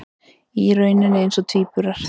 Í rauninni eins og tvíburar.